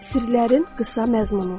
Sirlərin qısa məzmunu.